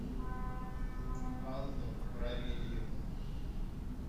анну равильевну